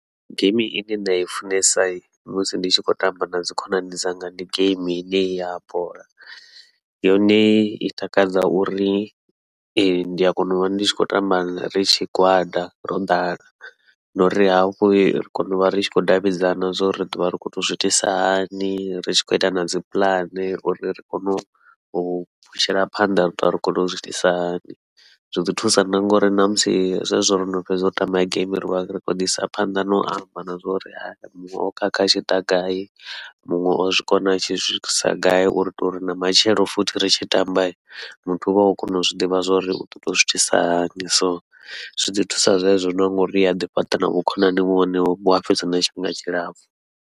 Geimi ine nda i funesa musi ndi tshi khou tamba nadzi khonani dzanga, ndi geimi ine henei ya bola yone i takadza uri ndi a kona uvha ndi tshi khou tamba ri tshigwada ro ḓala, na uri hafhu ri kona uvha ri tshi khou davhidzana zwa uri ri ḓovha ri khou tou zwiitisa hani ri tshi khou ita nadzi puḽane uri ri kone u phushela phanḓa uri ri ḓovha ri khou tou zwiitisa hani. Zwi ḓi thusa na ngauri ṋamusi zwezwo rono fhedza u tamba geimi rivha ri khou ḓi isa phanḓa nau amba na zwa uri muṅwe o khakha a tshiḓa gai muṅwe o zwi kona a tshi swikisa gai uri utou ri na matshelo futhi ri tshi tamba muthu uvha o kona u zwiḓivha zwa uri uḓo tou zwiitisa hani, so zwi ḓi thusa zwezwi no ngauri ni aḓi fhaṱa na vhukhonani vhua fhedzi na tshifhinga tshilapfhu.